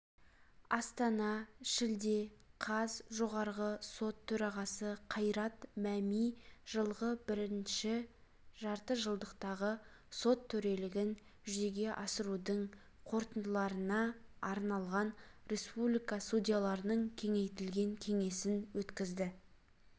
астана шілде қаз жоғарғы сот төрағасы қайрат мәми жылғы бірінші жартыжылдықтағы сот төрелігін жүзеге асырудың қорытындыларынаарналған республика судьяларының кеңейтілген кеңесін өткізді